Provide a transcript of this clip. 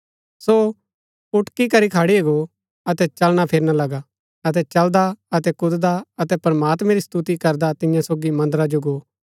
सो उटकी करी खड़ी गो अतै चलना फिरना लगा अतै चलदा अतै कूददा अतै प्रमात्मैं री स्तुति करदा तियां सोगी मन्दरा जो गो